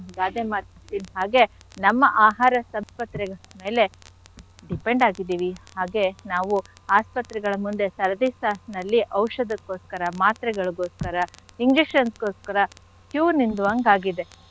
ಗಾದೆ ಮಾತಿನ್ ಹಾಗೆ ನಮ್ಮ ಆಹಾರ ಮೇಲೆ depend ಆಗಿದೀವಿ. ಹಾಗೆ ನಾವು ಆಸ್ಪತ್ರೆಗಳ ಮುಂದೆ ಸರದಿ ಸಾಲ್ನಲ್ಲಿ ಔಷಧಕ್ಕೋಸ್ಕರ, ಮಾತ್ರೆಗಳಿಗೋಸ್ಕರ, injections ಗೋಸ್ಕರ queue ನೀಲ್ಲೋ ಹಂಗ್ ಆಗಿದೆ.